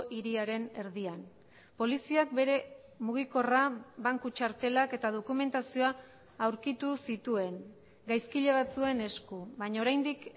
hiriaren erdian poliziak bere mugikorra banku txartelak eta dokumentazioa aurkitu zituen gaizkile batzuen esku baina oraindik